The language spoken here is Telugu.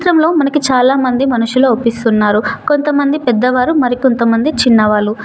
ఈ చిత్రంలో చాలామంది మనుషులు అవప్పిస్తున్నారు కొంతమంది పెద్దవారు మరికొంతమంది చిన్నవాళ్ళు.